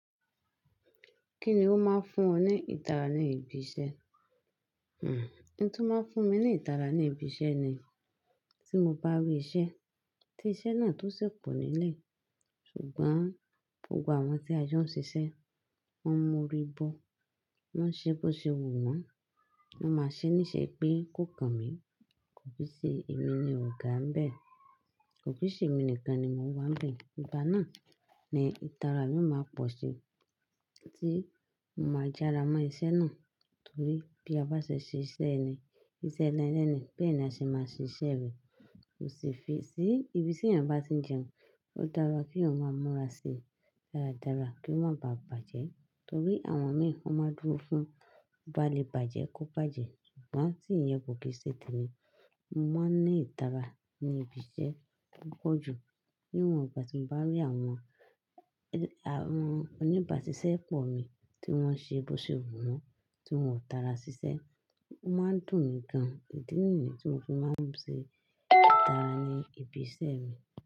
Kí ni ó máa ń fún ọ ní ìtara ní ibi iṣẹ́? Hmm, ohun tó máa ń fún mi ní ìtara ní ibi iṣẹ́ ni tí mo bá rí iṣẹ́, tí iṣẹ́ náà tó ṣẹ̀ pọ̀ nílẹ̀. Ṣùgbọ́n gbogbo àwọn tí a jọ ń ṣiṣẹ́, wọ́n m'orí bo, wọ́n ṣe bó ṣe wù wọ́n, wọ́n máa ṣe níṣe pé kó kan mi, kò sí ṣe èmi ni ọ̀gá ń bẹ̀, kò sí ṣe èmi nìkan ni mo wà bẹ̀. Ìgbà náà ni ìtara mi máa pọ̀ sí tí mo máa jára mọ́ iṣẹ́ náà. Torí bí a bá ṣe ṣe iṣẹ́ ẹni, iṣẹ́ ẹni lẹ́ni, bẹ́ẹ̀ ni a ṣe máa ṣe iṣẹ́ rẹ̀. Kò sì fi sí ibi tí ènìyàn bá ti ń jẹun, ó dára kí òun máa mọ́ra síi dáradára kí ó má baà bàjẹ́. Torí àwọn mìí, wọ́n máa ń dúró fún, bó bá lè bàjẹ́ kó bàjẹ́. Ṣùgbọ́n tí ìyẹn kò kì í ṣe tẹni. Mo máa ń ní ìtara ní ibi iṣẹ́ púpọ̀ jù níwọ̀n ìgbà tí mo bá rí àwọn, àwọn oníbàsísẹ́ pọ̀ mi tí wọ́n ṣe bó ṣe wù wọ́n, tí wọ́n ò tara ṣiṣẹ́, ó máa ń dùn mí gan-an. Ìdí nìyí ni tí mo fi máa ń ṣe ìtara ní ibi iṣẹ́ mi.